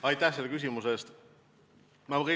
Aitäh selle küsimuse eest!